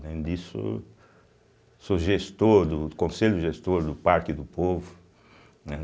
Além disso, sou gestor, do do conselho, gestor do Parque do Povo, né.